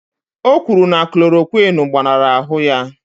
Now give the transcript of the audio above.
O kwuru na klòròkwịn gbaṅara ahụ ya